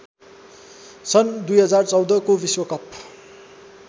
सन् २०१४ को विश्वकप